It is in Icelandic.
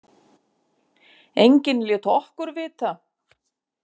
Enginn lét okkur vita.